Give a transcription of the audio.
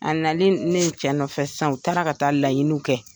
A nalen ne cɛ nɔfɛ san u taara ka taa laɲiniw kɛ.